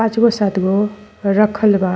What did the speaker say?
पांच गो सात गो रखल बा।